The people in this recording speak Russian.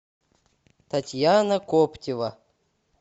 татьяна коптева